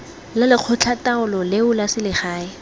la lekgotlataolo leo la selegae